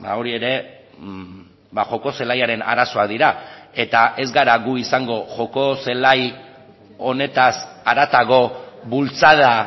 hori ere joko zelaiaren arazoak dira eta ez gara gu izango joko zelai honetaz haratago bultzada